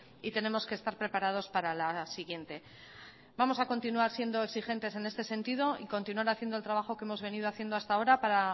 y tenemos que estar preparados para la siguiente vamos a continuar siendo exigentes en este sentido y continuar haciendo el trabajo que hemos venido haciendo hasta ahora para